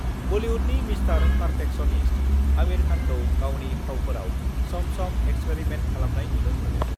बलिउडनि Mr perfectionist Aamir खानखौ गावनि फावफोराव सम-सम एक्सपेरिमेन्ट खालामनाय नुनो मोनो।